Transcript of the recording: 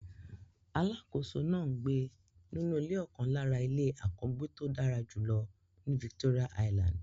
Alákòóso náà ń gbé nínú ọ̀kan lára ilé àkọ́gbéto dára jùlọ ní Victoria island.